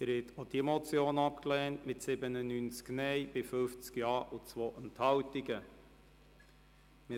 Sie haben auch diese Motion mit 97 Nein- gegen 50 Ja-Stimmen bei 2 Enthaltungen abgelehnt.